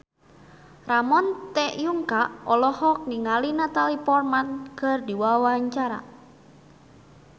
Ramon T. Yungka olohok ningali Natalie Portman keur diwawancara